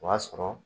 O y'a sɔrɔ